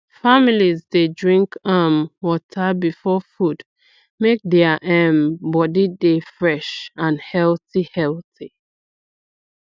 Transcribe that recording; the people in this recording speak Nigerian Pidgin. families dey drink um water before food make their um body dey fresh and healthy healthy